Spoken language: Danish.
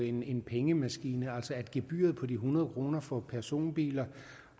en pengemaskine gebyret på de hundrede kroner for personbiler